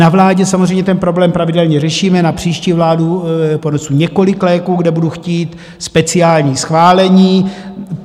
Na vládě samozřejmě ten problém pravidelně řešíme, na příští vládu ponesu několik léků, kde budu chtít speciální schválení.